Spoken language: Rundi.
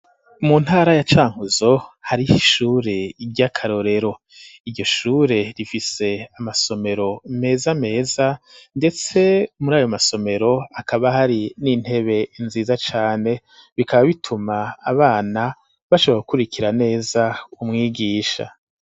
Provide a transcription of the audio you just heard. Mu ntara ya cankuzo hariho ishure ry'akarorero iryo shure rifise amasomero meza meza ndetse muri ayo masomero akaba hari n'intebe nziza cane bikaba bituma abana bashobora gukurikira neza umwigisha.